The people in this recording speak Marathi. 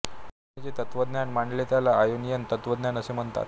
त्यांनी जे तत्त्वज्ञान मांडले त्याला आयोनियन तत्त्वज्ञान असे म्हणतात